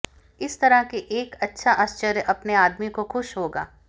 इस तरह के एक अच्छा आश्चर्य अपने आदमी को खुश होगा